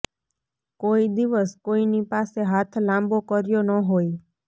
કોઈ દિવસ કોઈની પાસે હાથ લાંબો કર્યો ન હોય